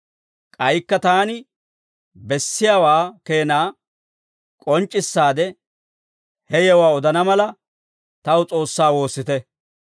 K'aykka taani bessiyaawaa keenaa k'onc'c'issaade ha yewuwaa odana mala, taw S'oossaa woossite.